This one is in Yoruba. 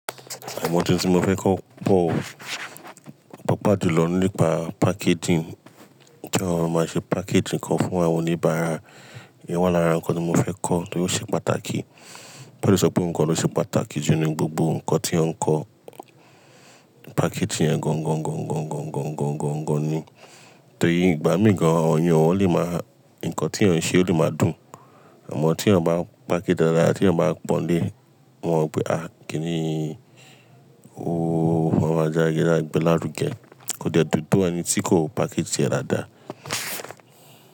Àwọ̀n ọ̀un tí mo fẹ́ kọ́ pọ̀, pàapa julọ nípa packaging, to máa ma ṣe packaging kan fún àwọn oníbàárà. Èyí wà lára nǹkan tí mo fẹ́ kọ́ tóró ṣe pàtàkì. Mo fe le sọpé oun kan ló ṣe pàtàkì jù nínú gbogbo nǹkan tí ó ń kọ́. Packaging yẹn gan gan gan gan gan gan gan gan gan ni. Torí ìgbà mí gan ọ̀'yàn le máa, nǹkan tí ọ̀un ṣe ó lè máa dùn, àmọ́ tí èèyàn bá package dáadáa, tí èèyàn bá pọ́n lé, wọn wípé, "à kíni o fọ́n e wa jági lágbẹ́ lárugẹ." Kò dẹ́ dùn tó ẹni tí kò package tiẹ̀ dáadáa.